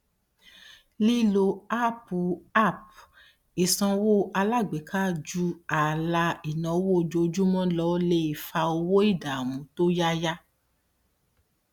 lílo áápù app ìsanwó alágbèéká ju ààlà ináwó ojoojúmọ lọ lè fa owó ìdáàmú tó yáyà